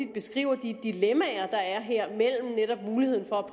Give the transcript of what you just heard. beskriver de dilemmaer der er her mellem netop muligheden for at